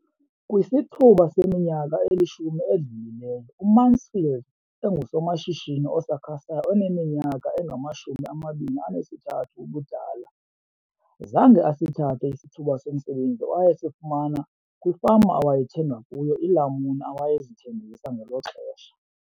Kwisithuba seminyaka elishumi edlulileyo, uMansfield engusomashishini osakhasayo oneminyaka engama-23 ubudala, zange asithathe isithuba somsebenzi awayesifumana kwifama awayethenga kuyo iilamuni awayezithengisa ngelo xesha.